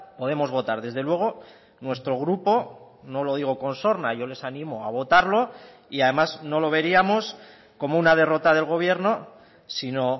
podemos votar desde luego nuestro grupo no lo digo con sorna yo les animo a votarlo y además no lo veríamos como una derrota del gobierno sino